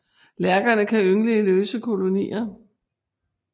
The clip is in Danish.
Lærkerne kan yngle i løse kolonier